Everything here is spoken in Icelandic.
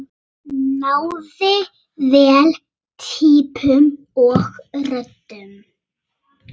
Náði vel týpum og röddum.